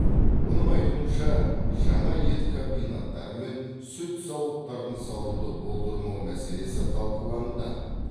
оның айтуынша жаңа ет комбинаттары мен сүт зауыттарын салуды болдырмау мәселесі талқылануда